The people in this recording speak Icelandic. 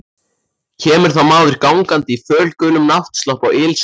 Kemur þá maður gangandi í fölgulum náttslopp og ilskóm.